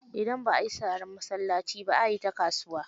Idan ba a yi sharar masallaci ba, a yi ta kasuwa.